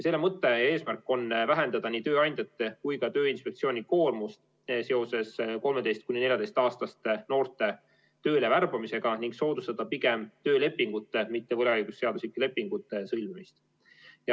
Selle mõte ja eesmärk on vähendada nii tööandjate kui ka Tööinspektsiooni koormust seoses 13–14-aastaste noorte tööle värbamisega ning soodustada pigem töölepingute, mitte võlaõigusseaduslike lepingute sõlmimist.